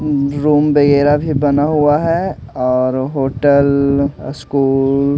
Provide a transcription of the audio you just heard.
room वगैरा भी बना हुआ है और होटल स्कूल --